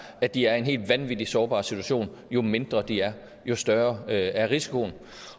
at de er i en helt vanvittig sårbar situation jo mindre de er jo større er risikoen